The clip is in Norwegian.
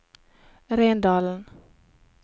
Rendalen